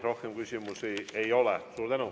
Rohkem küsimusi ei ole.